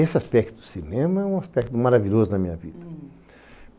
Esse aspecto do cinema é um aspecto maravilhoso na minha vida.